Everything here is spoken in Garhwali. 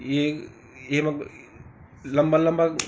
येक एमा लंबा-लंबा क --